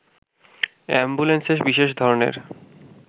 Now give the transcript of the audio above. অ্যাম্বুলেন্সে বিশেষ ধরনের